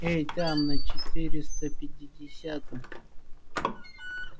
эй там на четыреста пятидесятом